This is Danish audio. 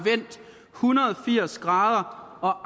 hundrede og firs grader og